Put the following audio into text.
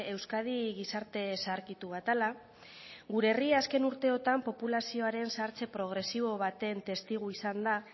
euskadi gizarte zaharkitu bat dela gure herria azken urteotan populazioaren zahartze progresibo baten testigu izan da